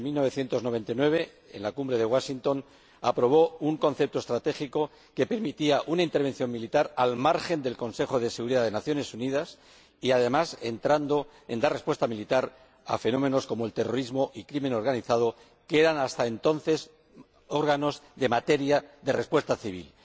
Desde 1999, en la Cumbre de Washington, aprobó un concepto estratégico que permitía una intervención militar al margen del Consejo de Seguridad de las Naciones Unidas y, además, dar una respuesta militar a fenómenos como el terrorismo y la delincuencia organizada, que eran hasta entonces materias de respuesta civil.